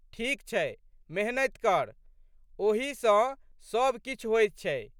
ठीक छै मेहनति कर। ओही सँ सब किछु होइत छै।